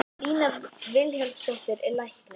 Lína Vilhjálmsdóttir er læknir.